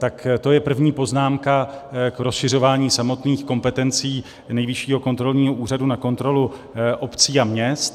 Tak to je první poznámka k rozšiřování samotných kompetencí Nejvyššího kontrolního úřadu na kontrolu obcí a měst.